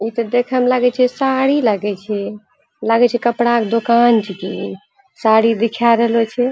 ई त देखे म लागे छे साड़ी लागे छे लागे कपड़ा क दोकान छके इ साड़ी दिखाय रहलो छे।